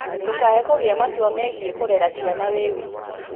Ndũkaae gũtua matua megiĩ kũrera ciana ũrĩ wiki;